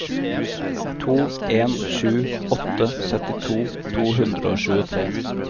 to en sju åtte syttito to hundre og tjuetre